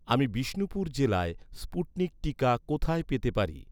আমি বিষ্ণুপুর জেলায়, স্পুটনিক টিকা কোথায় পেতে পারি?